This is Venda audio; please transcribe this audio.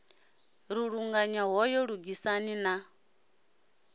ri luṱanya hoyu lugisani na